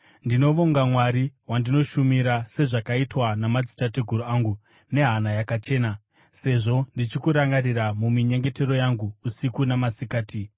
Ndinovonga Mwari, wandinoshumira sezvakaitwa namadzitateguru angu, nehana yakachena, sezvo ndichikurangarira muminyengetero yangu usiku namasikati.